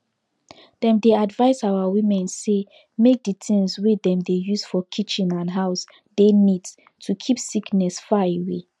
dem dey advise our women say make the things wey dem dey use for kitchen and house dey neat to keep sickness far away